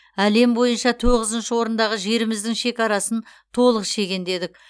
әлем бойынша тоғызыншы орындағы жеріміздің шекарасын толық шегендедік